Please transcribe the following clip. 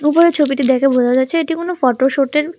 উপরের ছবিটি দেখে বোঝা যাচ্ছে এটি কোনো ফটো শুটের --